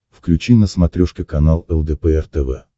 включи на смотрешке канал лдпр тв